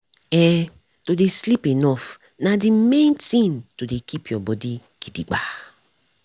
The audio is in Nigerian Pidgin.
eh to dey sleep enough nah the main tin to dey keep your body gidigba.